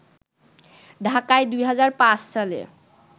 ঢাকায় ২০০৫ সালে